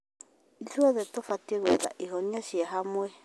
Ithuothe tũbatiĩ gwetha ihonia cia hamwe.